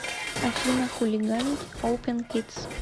афина хулиганить опен кидс